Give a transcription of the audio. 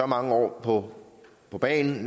mange år år på bagen